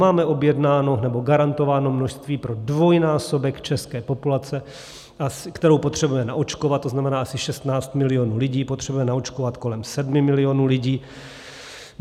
Máme objednáno nebo garantováno množství pro dvojnásobek české populace, kterou potřebujeme naočkovat, to znamená, asi 16 milionů lidí, potřebujeme naočkovat kolem 7 milionů lidí.